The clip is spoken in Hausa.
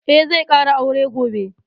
Eh, zai ƙara aure gobe